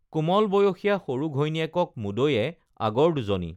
কোমল বয়সীয়া সৰু ঘৈণীয়েকক মুদৈয়ে আগৰ দুজনী